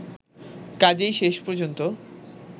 কাজেই শেষ পর্যন্ত